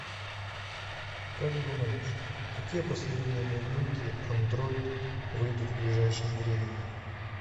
как думаешь какие последние новинки андроид выйдут в ближайшем времени